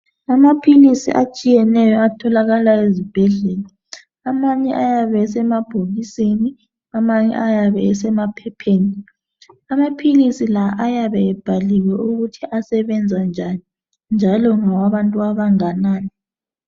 Amaphilisi atshiyeneyo atholakala ezibhedlela amanye ayabe esemabhokisini amanye ayabe esemaphepheni amaphilisi la ayabe ebhaliwe ukuthi asebenza njani njalo ngawabantu abanganani.